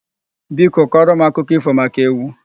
Biko kọrọ m akụkọ ífò maka ewu.